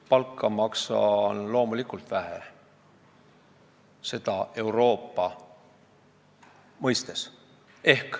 Palka maksan Euroopa mõistes loomulikult vähe.